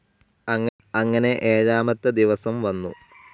അങ്ങനെ ഏഴാമത്തെ ദിവസം വന്നു.